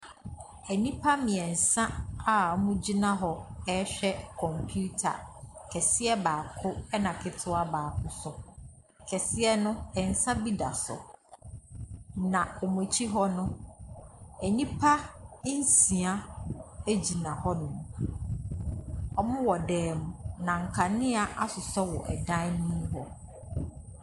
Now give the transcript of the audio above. Nnipa mmeɛnsa a wɔgyina hɔ rehwɛ computer, kɛseɛ baako, ɛna ketewa baako nso. Kɛseɛ no, nsa bi da so, na wɔn akyi hɔ no nnipa nsia gyina hɔnom. Wɔwɔ dan mu, na nkanea asosɔ wɔn hɔ dan mu hɔ.